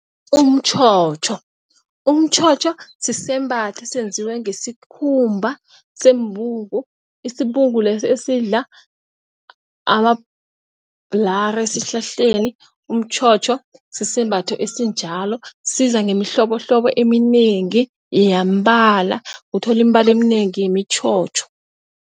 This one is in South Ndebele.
Umtjhotjho, umtjhotjho sisembatho esenziwe ngesikhumba sembungu isibungu leso esidla amabhulara esihlahleni. Umtjhotjho sisembatho esinjalo, siza ngemihlobohlobo eminengi yeembala uthola imibala eminengi yemitjhotjho.